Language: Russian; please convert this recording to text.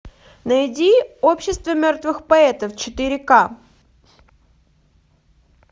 найди общество мертвых поэтов четыре ка